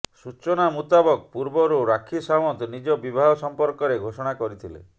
ସୂଚନା ମୁତାବକ ପୂର୍ବରୁ ରାକ୍ଷୀ ସାୱନ୍ତ ନିଜ ବିବାହ ସମ୍ପର୍କରେ ଘୋଷଣା କରିଥିଲେ